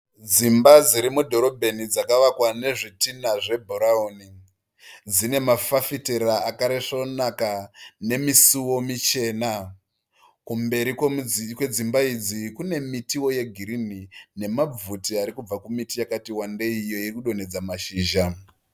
Dzimba dziri mudhorobheni dzakavakwa nezvitinha zvebhurawuni. Dzine mafafitera akaresvonaka. Dzine misuwo michena. Kumberi kwedzimba idzi kune mitiwo yegirinhi nemabvute ari kubva kumiti yakati wandei iyo iri kudonhedza mashizha.